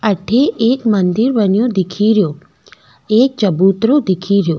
अठे एक मंदिर बनयो दिखेरो एक चबूतरों दिखे रियो।